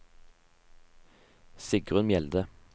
Sigrunn Mjelde